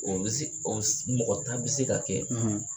O mɔgɔ tan bɛ se ka kɛ